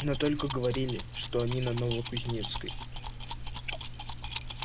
но только говорили что они на новокузнецкой